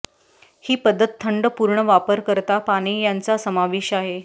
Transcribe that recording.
ही पद्धत थंड पूर्ण वापरकर्ता पाने यांचा समावेश आहे